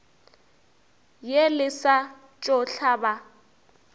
ye le sa tšo hlaba